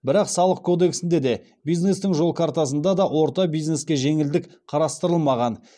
бірақ салық кодексінде де бизнестің жол картасында да орта бизнеске жеңілдік қарастырылмаған